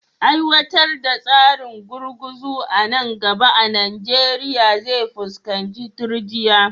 Aiwatar da tsarin gurguzu a nan gaba a Najeriya zai fuskanci turjiya